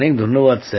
অনেক ধন্যবাদ